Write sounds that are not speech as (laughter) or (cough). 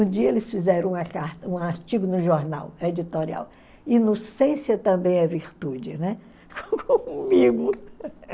Um dia eles fizeram uma car um artigo no jornal editorial, Inocência também é virtude, né, (laughs) (unintelligible)